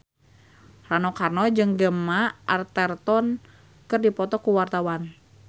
Rano Karno jeung Gemma Arterton keur dipoto ku wartawan